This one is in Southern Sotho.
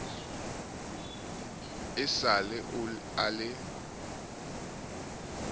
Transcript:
e sa le a le